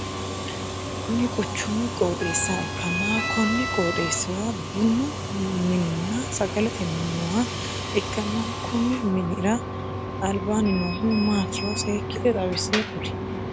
Kunni quchumu qooxeessa ikanna konni qooxeesira bunnu minninna sagalete minni nooha ikanna konni minnira albaanni noohu maatiro seekite xawise kuli?